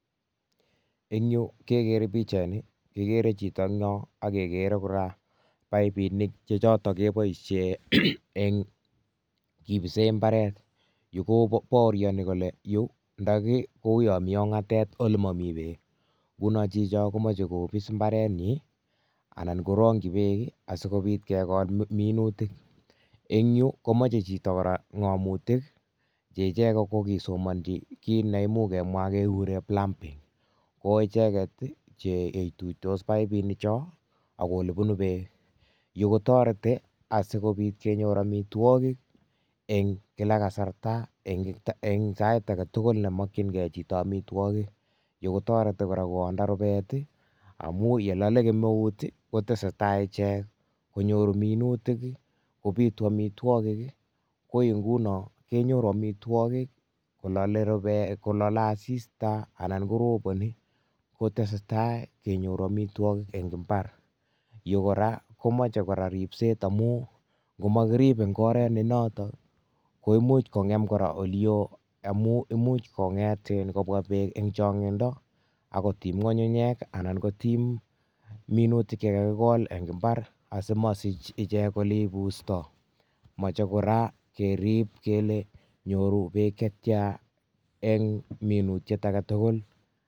Eng'yu kekere pichaini kekere chito en yon okekere kora paipinik chechoton keboishen, en kibisen mbaret, yuu kobaorioni kole yuu ndoki kou yomi ong'atet ole momii beek, ng'unon chicho komoche kobis imbarenyin anan korongyi beek asikobit kekol minutik, en yuu komoche chito kora ng'omutik cheichek kokisomonchi kiit neimuch kemwa kekuren plumbing, koicheket cheitutos paipinichon akoelebunu beek, yuu kotereti asikobit kenyor amitwokik en kilak kasarta eng sait aketukul nemokyin kee chito amitwokik, yuu kotoreti kora kowonda rubet i amun yelole kemeut koteseta ichek konyoru minutik kobitu amitwokik, ko ingunon kenyoru amitwokik kolale rubet, kolale asista anan koroboni koteseta kenyoru amitwokik en imbar, yuu kora komoche ribset amun n'omokirib en oret nenoton koimuch kong'em korak olio imun imuch konget iin kobwa beek en chong'indo akotim ng'ung'unyek anan kotiim minutik chekakimin en imbar simosich ichek eleibusto, moche kora kerib kele nyoru beek chetian en minutiet aketukul.